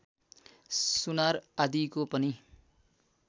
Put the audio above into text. सुनार आदिको पनि